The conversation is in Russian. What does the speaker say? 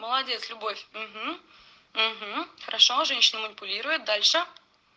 молодец любовь угу угу хорошо женщина манипулирует дальше